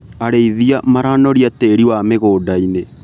Arĩithia maranoria tĩri wa mĩgũndainĩ.